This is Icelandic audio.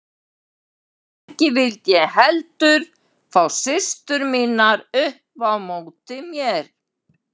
Ekki vildi ég heldur fá systur mínar upp á móti mér.